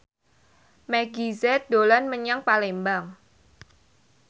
Meggie Z dolan menyang Palembang